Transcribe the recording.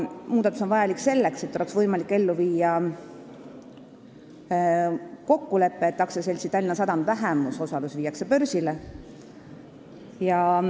Muudatus on vajalik selleks, et oleks võimalik ellu viia kokkulepe, et AS-i Tallinna Sadam vähemusosalus viiakse börsile.